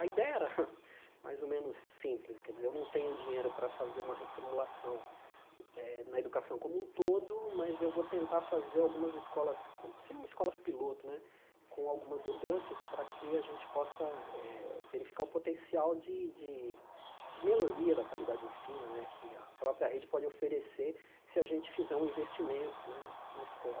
A ideia era mais ou menos simples, quer dizer, eu não tenho dinheiro para fazer uma reformulação eh na educação como um todo, mas eu vou tentar fazer algumas escolas, ser umas escola piloto né, com algumas mudanças para que a gente possa eh verificar o potencial de de de melhoria da qualidade do ensino né que a própria rede pode oferecer se a gente fizer um investimento né na escola.